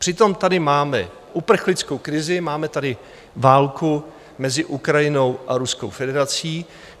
Přitom tady máme uprchlickou krizi, máme tady válku mezi Ukrajinou a Ruskou federací.